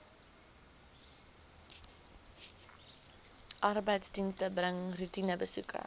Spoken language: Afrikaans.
arbeidsdienste bring roetinebesoeke